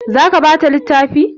Za ka bata littafi?